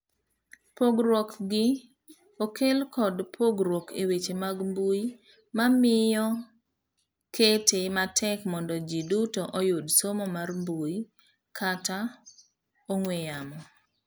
Pogruok gi okel kod pogruok eweche mag mbui mamiyo kete matek mondo ji duto oyud somo mar mbui kata ong'ue yamo.